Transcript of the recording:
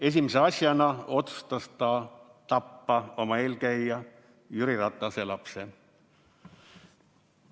Esimese asjana otsustas ta tappa oma eelkäija Jüri Ratase lapse.